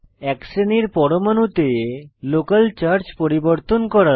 এক শ্রেনীর পরমাণুতে লোকাল চার্জ পরিবর্তন করা